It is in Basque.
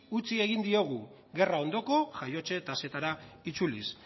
utzi egin diogu gerra ondoko jaiotze tasetara itzuliz